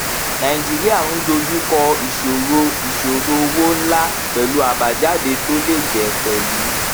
nàìjíríà ń dojú kọ ìṣòro ìṣòro owó ńlá pẹlú àbájáde tó le jẹ pẹlú